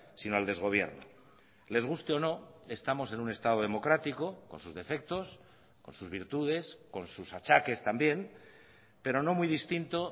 sino al desgobierno les guste o no estamos en un estado democrático con sus defectos con sus virtudes con sus achaques también pero no muy distinto